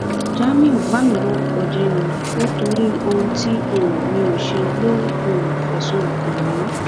jamiu bà mí lórúkọ jẹ ni o nítorí ohun tí um mi ò ṣe ló um fẹsùn ẹ kàn mí